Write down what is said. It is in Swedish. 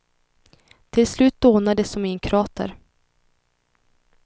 Till slut dånar det som i en krater.